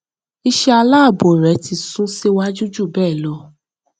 iṣẹ aláàbò rẹ ti sún síwájú ju bẹẹ lọ